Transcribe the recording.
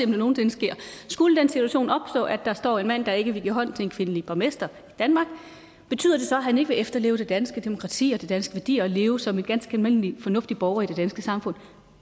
det nogen sinde sker at skulle den situation opstå at der står en mand der ikke vil give hånd til en kvindelig borgmester i danmark betyder det så at han ikke vil efterleve det danske demokrati og de danske værdier og leve som en ganske almindelig fornuftig borger i det danske samfund